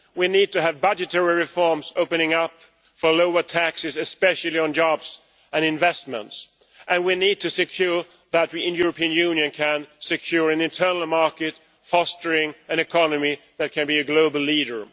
We need to have budgetary reforms opening up for lower taxes, especially on jobs and investments, and we need to ensure that we in the European Union can achieve an internal market fostering an economy that can be a global leader.